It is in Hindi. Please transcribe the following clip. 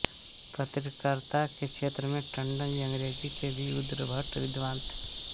पत्रकारिता के क्षेत्र में टण्डन जी अंग्रेजी के भी उद्भट विद्वान थे